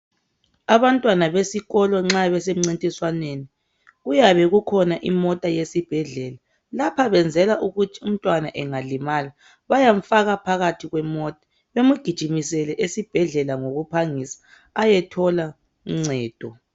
Abantwana besikolo nxa besemncintiswaneni kuyabe kukhona imota yesibhedlela. Lapha kwenzelwa ukuthi umntwana engalimala bayamfaka phakathi kwemota bemgijimisele esibhedlela ngokuphangisa ayethola uncedo.